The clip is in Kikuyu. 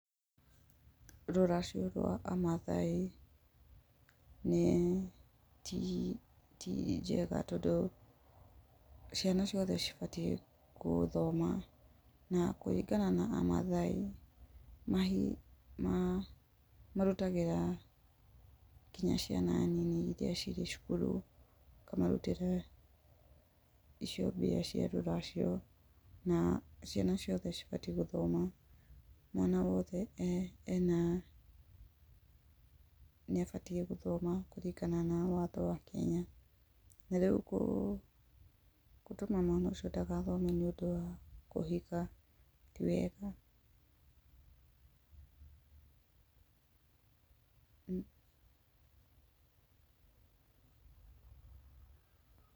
Rũracio rwa a maathai, nĩ ti, ti njega tondũ ciana ciothe cibatiĩ gũthoma. Na kũringana na a maathai, marutagĩra nginya ciana nini iria cirĩ cukuru, makamarutĩra icio mbia cia rũracio, na ciana ciothe cibatiĩ gũthoma. Mwana wothe ena, nĩ abatiĩ gũthoma kũringana na watho wa Kenya, na rĩu gũ, gũtũma mwana ũcio ndagathome nĩ ũndũ wa kũhika, ti wega.